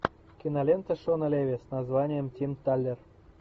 кинолента шона леви с названием тим талер